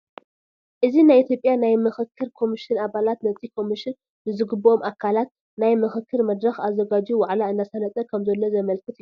እዚ ናይ ኢትዮጵያ ናይ ምኽክር ኮምሽን ኣባላት ነቲ ኮምሽን ንዝግበኦም ኣካላት ናይ ምኽክር መድረኽ ኣዘጋጅዩ ዋዕላ እንዳሳለጠ ከም ዘሎ ዘመላኽት እዩ፡፡